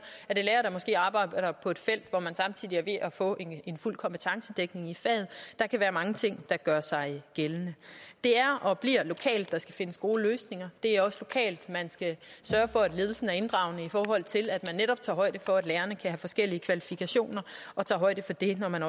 der måske arbejder på et felt hvor man samtidig er ved at få en fuld kompetencedækning i faget der kan være mange ting der gør sig gældende det er og bliver lokalt der skal findes gode løsninger det er også lokalt man skal sørge for at ledelsen er inddragende i forhold til at man netop tager højde for at lærerne kan have forskellige kvalifikationer og tager højde for det når man